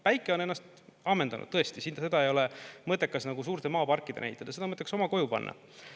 Päike on ennast ammendanud, tõesti, seda ei ole mõttekas suurte maaparkidena ehitada, seda on mõttekas oma koju panna.